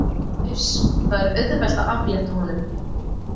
Uss, það er auðvelt að aflétta honum.